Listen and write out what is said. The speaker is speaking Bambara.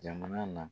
Jamana na